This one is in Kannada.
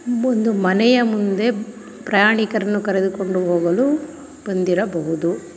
ಇಲ್ಲೊಂದು ಮನೆಯ ಮುಂದೆ ಪ್ರಯಾಣಿಕರನ್ನು ಕರೆದು ಕೊಂಡು ಹೋಗಲು ಬಂದಿರಬಹುದು.